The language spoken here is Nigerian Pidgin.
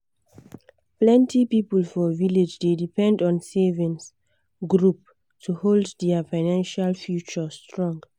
plenty people for village dey depend on savings group to hold their financial future strong.